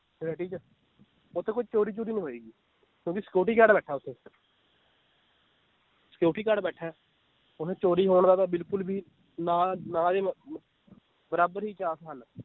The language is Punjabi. Society ਚ ਓਥੇ ਕੋਈ ਚੋਰੀ ਚੂਰੀ ਨੀ ਹੋਏਗੀ, ਕਿਉਂਕਿ security guard ਬੈਠਾ ਓਥੇ security guard ਬੈਠਾ ਏ ਓਥੇ ਚੋਰੀ ਹੋਣ ਦਾ ਤਾਂ ਬਿਲਕੁਲ ਵੀ ਨਾ ਨਾ ਦੇ ਮ~ ਮ~ ਬਰਾਬਰ ਹੀ chance ਹਨ l